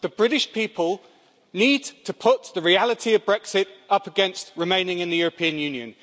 The British people need to put the reality of Brexit up against remaining in the European Union.